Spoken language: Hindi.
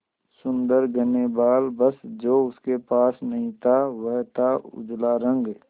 सुंदर घने बाल बस जो उसके पास नहीं था वह था उजला रंग